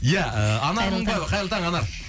ия ыыы анар мыңбаева қайырлы таң қайырлы таң анар